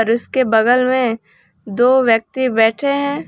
इसके बगल में दो व्यक्ति बैठे हैं।